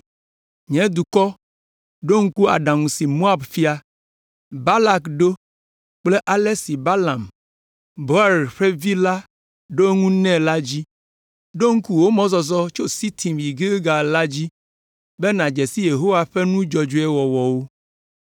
Nye dukɔ, ɖo ŋku aɖaŋu si Moab fia, Balak, ɖo kple ale si Balaam, Beor ƒe vi la ɖo eŋu nɛ la dzi. Ɖo ŋku wò mɔzɔzɔ tso Sitim yi Gilgal la dzi, be nàdze si Yehowa ƒe nu dzɔdzɔe wɔwɔwo.”